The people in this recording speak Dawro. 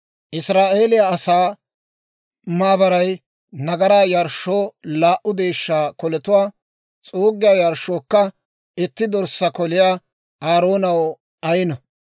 «Israa'eeliyaa asaa maabaray nagaraa yarshshoo laa"u deeshshaa koletuwaa, s'uuggiyaa yarshshookka itti dorssaa koliyaa Aaroonaw ayino.